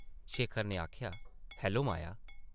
शेखर नै आखेआ, ‘‘हैलो माया ।’’